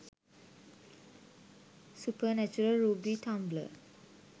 supernatural ruby tumblr